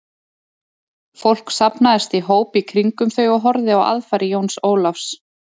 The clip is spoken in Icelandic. Fólk safnaðist í hóp í kringum þau og horfði á aðfarir Jóns Ólafs.